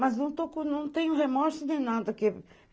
Mas não tenho remorso nem nada.